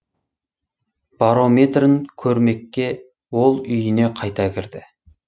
барометрін көрмекке ол үйіне қайта кірді